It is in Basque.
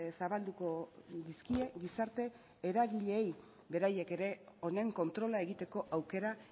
zabalduko dizkie gizarte eragileei beraiek ere honen kontrola egiteko aukera